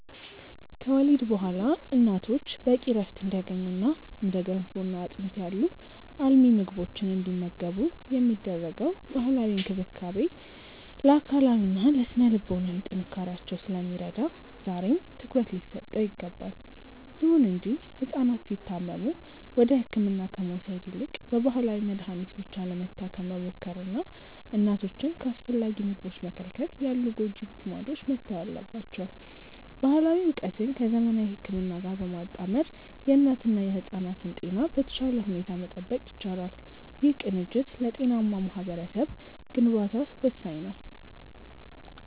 ከወሊድ በኋላ እናቶች በቂ ዕረፍት እንዲያገኙና እንደ ገንፎና አጥሚት ያሉ አልሚ ምግቦችን እንዲመገቡ የሚደረገው ባህላዊ እንክብካቤ ለአካላዊና ለሥነ-ልቦና ጥንካሬያቸው ስለሚረዳ ዛሬም ትኩረት ሊሰጠው ይገባል። ይሁን እንጂ ሕፃናት ሲታመሙ ወደ ሕክምና ከመውሰድ ይልቅ በባህላዊ መድኃኒት ብቻ ለመታከም መሞከርና እናቶችን ከአስፈላጊ ምግቦች መከልከል ያሉ ጎጂ ልማዶች መተው አለባቸው። ባህላዊ ዕውቀትን ከዘመናዊ ሕክምና ጋር በማጣመር የእናትና የሕፃናትን ጤና በተሻለ ሁኔታ መጠበቅ ይቻላል። ይህ ቅንጅት ለጤናማ ማኅበረሰብ ግንባታ ወሳኝ ነው።